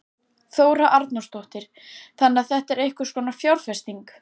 Þóra Arnórsdóttir: Þannig að þetta er einhvers konar fjárfesting?